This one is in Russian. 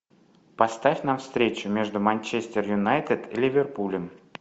поставь нам встречу между манчестер юнайтед и ливерпулем